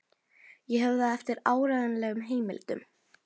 Ég hef það eftir áreiðanlegum heimildum.